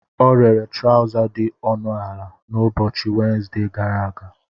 Ọ rere trọza dị ọnụ ala n'ụbọchị Wenezde gara aga.